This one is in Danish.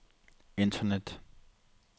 internet